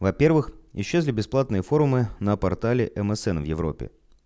во-первых исчезли бесплатные форумы на портале мсн в европе